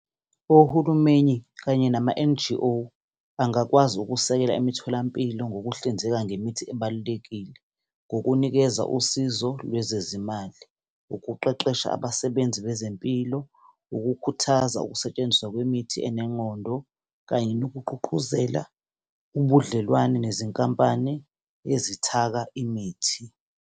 Ohulumeni kanye nama-N_G_O bangakwazi ukusekela imitholampilo ngokuhlinzeka ngemithi ebalulekile, ngokunikeza usizo lwezezimali, ukuqeqesha abasebenzi bezempilo, ukukhuthaza ukusetshenziswa kwemithi enengqondo kanye, nokugqugquzela ubudlelwane nezinkampani ezithaka imithi.